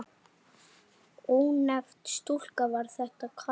Ónefnd stúlka: Var þetta kalt?